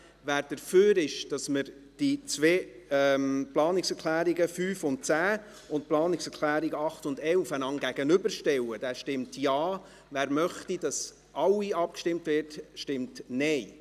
Wer dafür ist, dass wird die Planungserklärungen 5 und 10 sowie die Planungserklärungen 8 und 11 einander gegenüberstellen, stimmt Ja, wer möchte, dass über alle abgestimmt wird, stimmt Nein.